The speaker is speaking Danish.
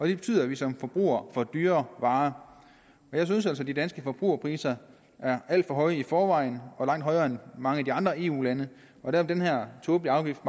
det betyder at vi som forbrugere får dyrere varer jeg synes altså at de danske forbrugerpriser er alt for høje i forvejen og langt højere end i mange af de andre eu lande og den her tåbelige afgift